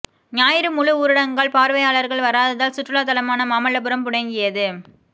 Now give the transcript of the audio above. ஞாயிறு முழு ஊரடங்கால் பார்வையாளர்கள் வராததால் சுற்றுலா தலமான மாமல்லபுரம் முடங்கியது